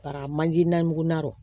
Bara manje namugun